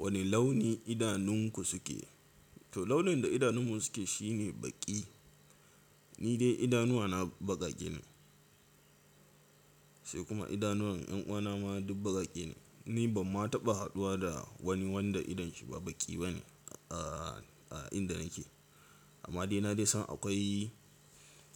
Wane launi idanunku suke? To launin da idanun mu suke shine baƙi. Ni dai idanuwa na baƙaƙe ne sai kuma idanuwan ƴanuwa na ma duk baƙaƙe ne. Ni ban ma taɓa haduwa da wani wanda idon shi ba baƙi ba ne a, a inda nake. Amma dai na dai san akwai